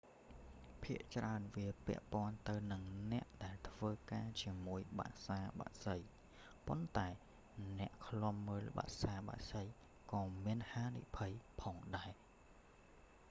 ភាគច្រើនវាពាក់ព័ន្ធទៅនិងអ្នកដែលធ្វើការជាមួយបក្សាបក្សី ប៉ុន្តែអ្នកឃ្លាំមើលបក្សាបក្សីក៏មានហានិភ័យផងដែរ